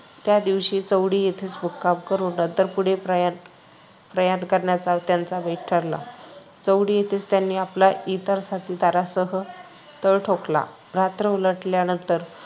त्या दिवशी चौंडी येथेच मुक्काम करून नंतर पुढे प्रयाण करण्याचा त्यांचा बेत ठरला. चौंडी येथेच त्यांनी आपल्या इतर साथीदारांसह तळ ठोकला. रात्र उलटल्यानंतर